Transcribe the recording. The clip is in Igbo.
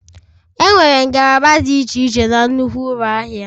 Enwere ngalaba dị iche iche na nnukwu ụlọ ahịa